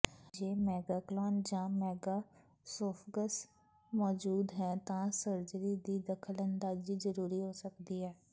ਜੇ ਮੈਗੈਕਲੋਨ ਜਾਂ ਮੈਗਾਸੋਫਗਸ ਮੌਜੂਦ ਹੈ ਤਾਂ ਸਰਜਰੀ ਦੀ ਦਖ਼ਲਅੰਦਾਜ਼ੀ ਜਰੂਰੀ ਹੋ ਸਕਦੀ ਹੈ